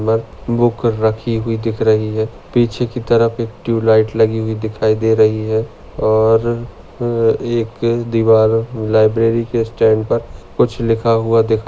book रखी हुई दिख रही है पीछे की तरफ एक ट्यूब लाइट लगी हुई दिखाई दे रही है और एक दीवार लाइब्ररी के स्टैंड पर कुछ लिखा हुआ दिखा--